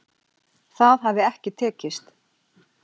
Það hafi ekki tekist